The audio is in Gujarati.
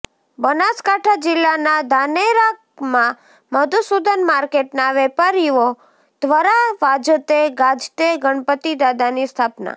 બનાસકાંઠા જિલ્લા ના ધાનેરા માં મધુસુદન માર્કેટ ના વેપારીઓ ધ્વરા વાજતે ગાજતે ગણપતિ દાદાની સ્થાપના